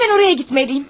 Həmən oraya getməliyəm.